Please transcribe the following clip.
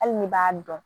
Hali ni b'a dɔn